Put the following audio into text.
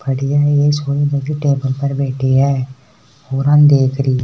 छोरी टेबल पर बैठी है छोरा न देख रही है।